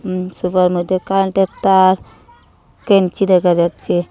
উম sofa র মইদ্যে কারেন্টের তার কেঞ্চি দেখা যাচ্চে।